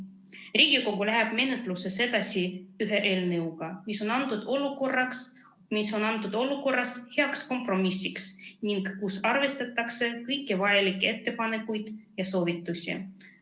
Riigikogu läheb menetluses edasi ühe eelnõuga, mis on praeguses olukorras heaks kompromissiks ning mille puhul arvestatakse kõiki vajalikke ettepanekuid ja soovitusi.